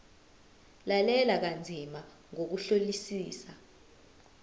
lalela kanzima ngokuhlolisisa